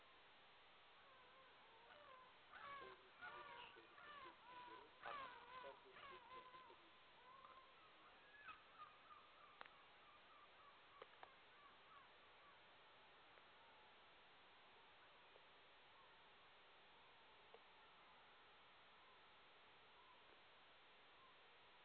ол екі мың жетінші жылғы қыркүйектен бері адам құқықтары жөніндегі уәкіл қызметін атқарып келген болатын